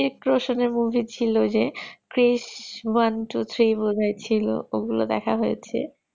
Hritik-Roshan এর movie ছিল যে krish one two three বোধহয় ছিল ওগুলো দেখা হয়েছে